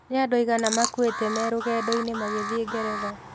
Nĩ andũ aigana makuĩte me rũgendo-inĩ magĩthiĩ Ngeretha?